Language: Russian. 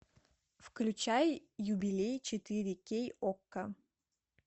включай юбилей четыре кей окко